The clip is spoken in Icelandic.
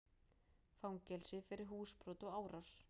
Fangelsi fyrir húsbrot og árás